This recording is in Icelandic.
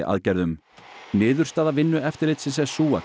aðgerðum niðurstaða Vinnueftirlitsins er sú að